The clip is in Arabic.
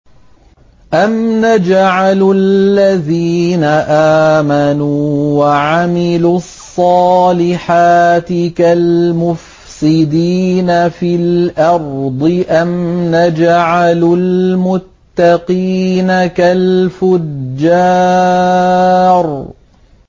أَمْ نَجْعَلُ الَّذِينَ آمَنُوا وَعَمِلُوا الصَّالِحَاتِ كَالْمُفْسِدِينَ فِي الْأَرْضِ أَمْ نَجْعَلُ الْمُتَّقِينَ كَالْفُجَّارِ